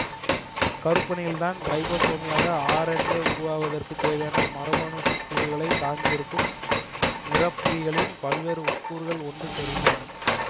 கருப்பருனியில்தான் ரைபோசோமிய R N A உருவாவதற்குத் தேவையான மரபணுக்கூறுகளைத் தாங்கியிருக்கும் நிறப்புரிகளின் பல்வேறு உட்கூறுகள் ஒன்று சேர்கின்றன